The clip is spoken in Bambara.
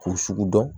K'o sugu dɔn